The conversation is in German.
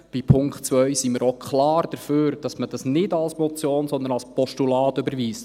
Bei Punkt 2 sind wir auch klar dafür, dass man diesen nicht als Motion, sondern als Postulat überweist.